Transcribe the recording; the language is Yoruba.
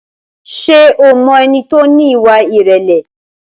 Ṣé o mọ ẹni tí ó ní ìwà ìrẹ̀lẹ̀?